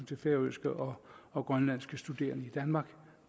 til færøske og og grønlandske studerende i danmark